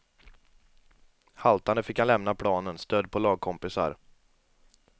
Haltande fick han lämna planen, stödd på lagkompisar.